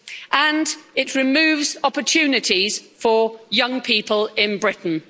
and it removes opportunities for young people in Britain.